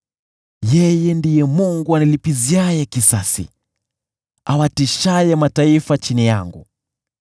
Yeye ndiye Mungu anilipiziaye kisasi, awatiishaye mataifa chini yangu,